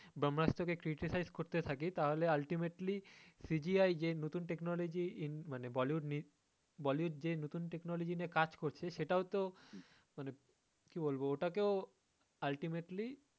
ব্রহ্মাস্ত্র কে criticize করতে থাকি তো ultimately CGI যে নতুন technology মানে bollywood bollywood যে নতুন technology নিয়ে কাজ করছে সেটাও তো মানে কী বলবো ওটা কেও তো ultimately